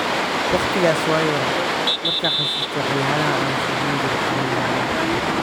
Waqtikas waan yaray ,marka xasusto waxyalah aan suubinijire waan yaabaa.